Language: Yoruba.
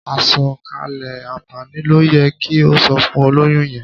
Àsọ̀kalẹ̀ àǹfààní ló yẹ kí o sọ fún olóyún yẹn.